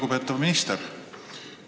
Lugupeetav minister!